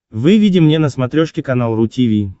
выведи мне на смотрешке канал ру ти ви